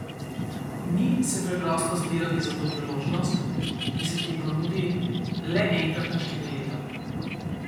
Ni se preprosto zbrati za to priložnost, ki se ti ponudi le enkrat na štiri leta.